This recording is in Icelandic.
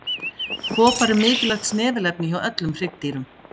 Kopar er mikilvægt snefilefni hjá öllum hryggdýrum.